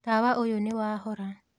Tawa ũyũ nĩwahora.